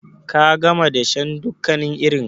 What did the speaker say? Ka gama dashen dukkanin irinka?